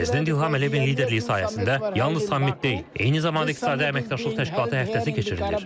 Prezident İlham Əliyevin liderliyi sayəsində yalnız sammit deyil, eyni zamanda İqtisadi Əməkdaşlıq Təşkilatı həftəsi keçirilir.